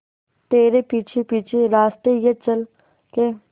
तेरे पीछे पीछे रास्ते ये चल के